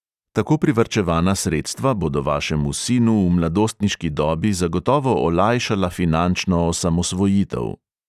Tako privarčevana sredstva bodo vašemu sinu v mladostniški dobi zagotovo olajšala finančno osamosvojitev.